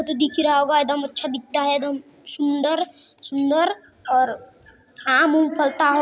जो दिख ही रहा होगा एदम अच्छा दिखता है एदम सुंदर-सुंदर और आम उम फलता हो --